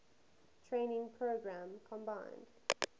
training program combined